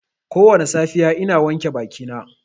Kowane safiya ina wanke bakina.